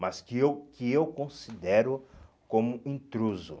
Mas que eu que eu considero como intruso.